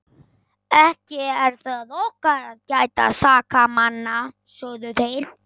Ekki er það okkar að gæta sakamanna, sögðu þeir.